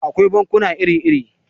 Akwai bankuna iri-iri.